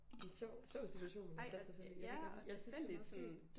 Det en sjov sjov situation man har sat sig selv i jeg kan godt lide jeg synes det er meget skægt